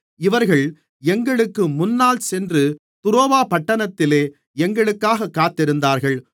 இவர்கள் எங்களுக்கு முன்னால் சென்று துரோவா பட்டணத்திலே எங்களுக்காகக் காத்திருந்தார்கள்